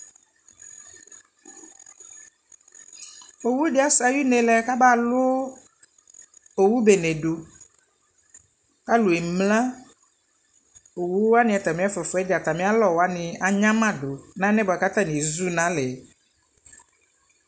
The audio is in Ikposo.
owʋdi asɛ ayʋnelɛ kabalʋ owʋbenedʋ alʋɛmlea awʋni atami ɛfʋafʋadza atamialɔ wanii anyamadʋ na ɛlɛnɛ buakʋ ataniezʋ nalɛɛ